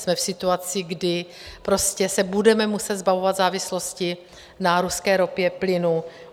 Jsme v situaci, kdy se budeme muset zbavovat závislosti na ruské ropě, plynu.